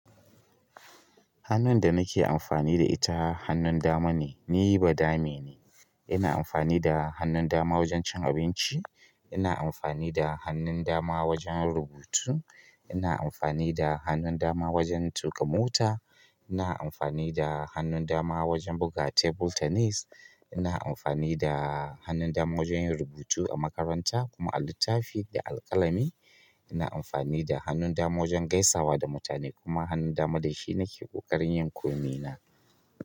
Hannun da nake amfani da ita hannun dama ne, ni badame ne. Ina amfani da hannun dama wajen cin abinci, ina amfani da hannun dama wajen rubutu, ina amfani da hannun dama wajen tuƙa mota ina amfani da hannun wajen buga table tennis ina amfani da hannun dama wajen yin rubutu a makaranta kuma a littafi da alƙalami ina amfani da hannun dama wajen gaisawa da mutane kuma hannun dama dashi nake ƙoƙarin yin komina.